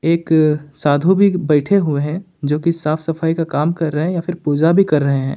एक साधु भी बैठे हुए हैं जो कि साफ सफाई का काम कर रहे हैं या फिर पूजा भी कर रहे हैं।